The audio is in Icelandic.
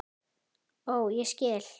Ó, ég skil!